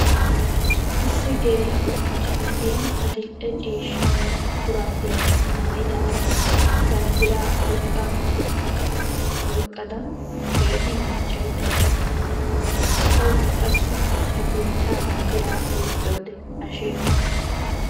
Issi geel'o macca na'iya adil"e ciishsha mera shuraabiya maayidaara banddiraa oyqqa eqqad keehi miiccaydda dawusu. Tawukka qassi ta biittaa banddiraa oyqqiyode hashee ho''ees.